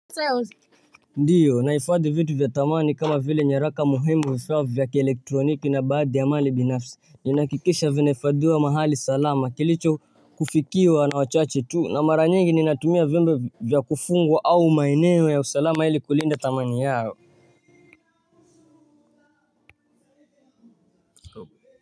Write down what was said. Ndiyo naifadhi vitu vya thamani kama vile nyaraka muhimu vifaa vya kielektroniki na baadhi ya mali binafsi. Ninakikisha vinaifadhiwa mahali salama kilicho kufikiwa na wachache tu na mara nyingi ninatumia vimbo vya kufungwa au maeneo ya usalama ili kulinda thamani yao.